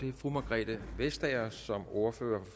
er fru margrethe vestager som ordfører